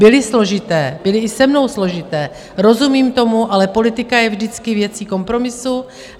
Byly složité, byly i se mnou složité, rozumím tomu, ale politika je vždycky věcí kompromisu.